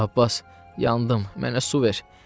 Abbas, yandım, mənə su ver!